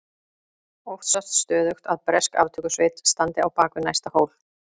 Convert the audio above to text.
Óttast stöðugt að bresk aftökusveit standi á bak við næsta hól.